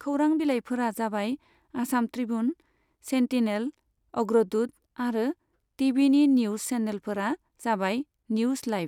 खौरां बिलाइफोरा जाबाय आसाम त्रिबुन, सेन्टिनेल, अग्रदुत आरो टि भिनि निउज सेनेलफोरा जाबाय निउज लाइभ।